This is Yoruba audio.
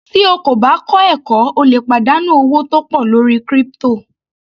Tí o kò bá kọ́ ẹ̀kọ́ o lè pàdánù owó tó pọ̀ lórí crypto.